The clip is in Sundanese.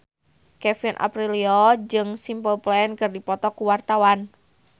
Kevin Aprilio jeung Simple Plan keur dipoto ku wartawan